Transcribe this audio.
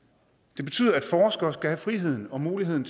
det betyder at forskere skal have friheden og muligheden